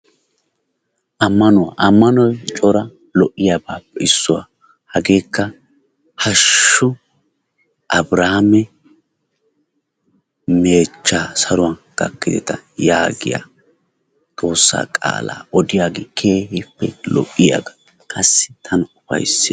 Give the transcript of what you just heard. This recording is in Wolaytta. ammanuwaa. ammanoy coora lo'iyaabaappe issuwaa. hageekka haashshu abiraame meechchaa saruwan gakkideta yaagiyaa xoossaa qaalaa odiyaagee keehippe lo"iyaaga qassi tana ufayssees.